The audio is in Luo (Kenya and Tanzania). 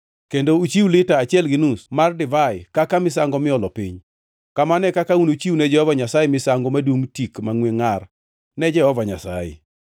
kendo uchiw lita achiel gi nus mar divai kaka misango miolo piny. Kamano e kaka unuchiwne Jehova Nyasaye misango madungʼ tik mangʼwe ngʼar ne Jehova Nyasaye.